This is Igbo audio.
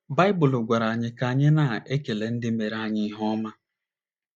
Baịbụl gwara anyi ka anyị na - ekele ndị meere anyị ihe ọma.